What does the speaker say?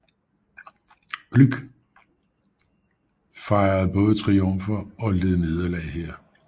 Gluck fejrede både triumfer og led nederlag her